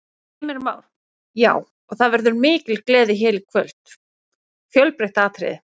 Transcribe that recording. Heimir Már: Já, og það verður mikil gleði hér í kvöld, fjölbreytt atriði?